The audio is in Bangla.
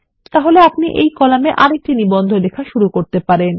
তাহলে আপনি এই কলামে আরেকটি নিবন্ধ লেখা শুরু করতে পারেন